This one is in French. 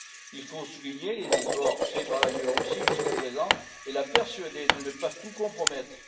Il faut souligner les efforts faits par la Biélorussie jusqu'à présent et la persuader de ne pas tout compromettre.